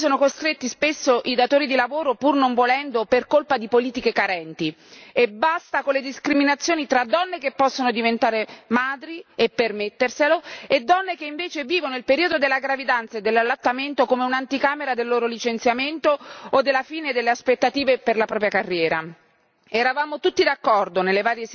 Basta con le discriminazioni, a cui sono costretti spesso i datori di lavoro, pur non volendo, per colpa di politiche carenti, e basta con le discriminazioni tra donne che possono diventare madri e permetterselo e donne che invece vivono il periodo della gravidanza e dell'allattamento come un'anticamera del loro licenziamento o della fine delle aspettative per la propria carriera.